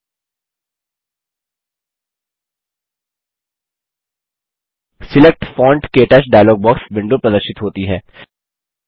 select font - क्टच dialog box window प्रदर्शित होती है